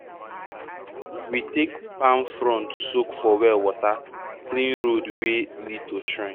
we take palm front soak for well water clean road wey lead to shrine.